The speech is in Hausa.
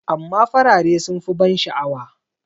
amma farare sun fi ban sha'awa